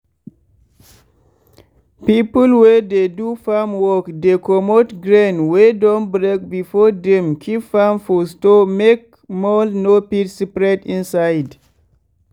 people wey dey do farm work dey comot grain wey don break before dem keep am for store make mould no fit spread inside.